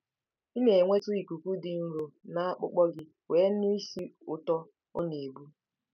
Ị na-enweta ikuku dị nro na akpụkpọ gị wee nụ ísì ụtọ ọ na-ebu.